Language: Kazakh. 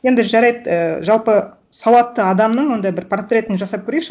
енді жарайды і жалпы сауатты адамның ондай бір портретін жасап көрейікші